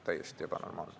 Täiesti ebanormaalne.